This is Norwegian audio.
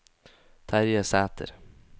Terje Sæter